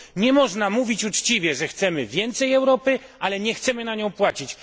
Nie można mówić uczciwie, że chcemy więcej Europy, ale nie chcemy na nią płacić.